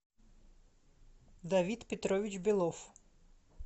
давид петрович белов